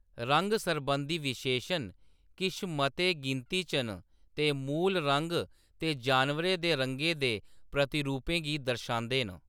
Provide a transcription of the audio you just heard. रंग-सरबंधी विशेषण किश मते गिनती च न ते मूल रंग ते जानवरें दे रंगें दे प्रतिरूपें गी दर्शांदे न।